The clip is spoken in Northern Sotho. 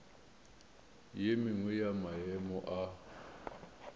ye nngwe ya maemo a